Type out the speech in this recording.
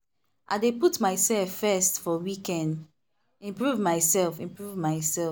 i dey put myself first for weekend improve myself. improve myself.